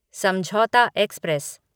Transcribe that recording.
समझौता एक्सप्रेस